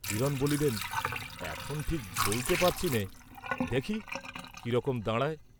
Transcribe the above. হিরণ বলিলেন, "এখন ঠিক বলতে পারছিনে, দেখি কি রকম দাঁড়ায়।"